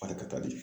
Barika ka di